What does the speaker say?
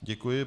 Děkuji.